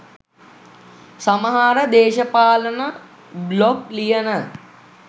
සමහර දේශපාලන බ්ලොග් ලියන